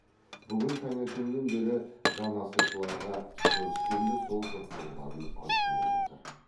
бүгін таңертеңнен бері жаназашыларға көріскенде сол жоқтауларын айтумен отыр